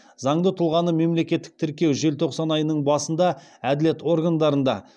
заңды тұлғаны мемлекеттік тіркеу желтоқсан айының басында әділет органдарында